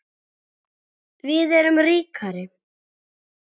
Við erum ríkar